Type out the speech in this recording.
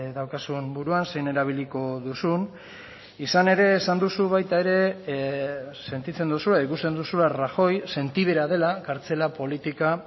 daukazun buruan zein erabiliko duzun izan ere esan duzu baita ere sentitzen duzula ikusten duzula rajoy sentibera dela kartzela politika